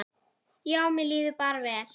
Já, mér líður bara vel.